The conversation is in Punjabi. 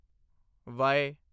ਵਾਈ